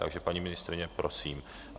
Takže paní ministryně, prosím.